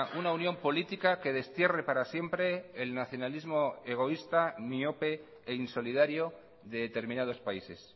una unión política que destierre para siempre el nacionalismo egoísta miope e insolidario de determinados países